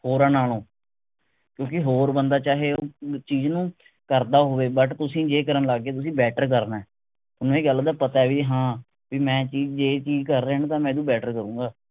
ਹੋਰਾਂ ਨਾਲੋਂ ਕਿਓਂਕਿ ਹੋਰ ਬੰਦਾ ਚਾਹੇ ਚੀਜ ਨੂੰ ਕਰਦਾ ਹੋਵੇ but ਤੁਸੀਂ ਜੇ ਕਰਨ ਲੱਗ ਗਏ ਤੁਸੀਂ better ਕਰਨੇ ਥੋਨੂੰ ਇਹ ਗੱਲ ਦਾ ਪਤੇ ਵੀ ਹਾਂ ਮੈਂ ਚੀਜ ਇਹ ਚੀਜ ਕਰ ਰਿਹੈਂ ਨਾ ਤਾਂ ਮੈਂ ਵੀ better ਕਰੂੰਗਾ